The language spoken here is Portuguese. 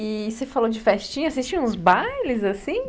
E você falou de festinha, vocês tinham uns bailes assim?